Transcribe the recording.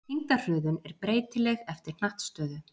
Þyngdarhröðun er breytileg eftir hnattstöðu.